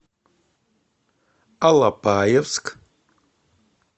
алапаевск